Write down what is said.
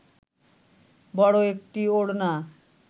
বড় একটি ওড়না